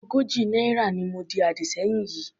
Ogójì náírà ni mo di àdì sẹ́yìn yìí.